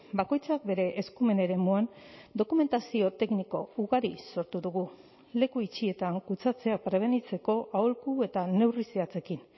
bakoitzak bere eskumen eremuan dokumentazio tekniko ugari sortu dugu leku itxietan kutsatzea prebenitzeko aholku eta neurri zehatzekin